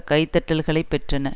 கைதட்டல்களைப் பெற்றன